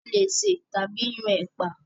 A leè sè tàbí yan ẹ̀pà.